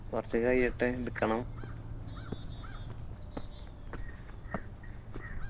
കുറച്ച് കഴിയട്ടെ എടുക്കണം